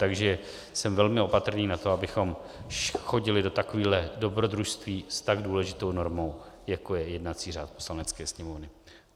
Takže jsem velmi opatrný na to, abychom chodili do takovýchhle dobrodružství s tak důležitou normou, jako je jednací řád Poslanecké sněmovny.